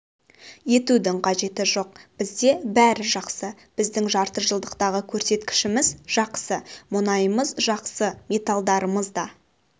етудің қажеті жоқ бізде бәрі жақсы біздің жарты жылдықтағы көрсеткішіміз жақсы мұнайымыз жақсы металдарымыз да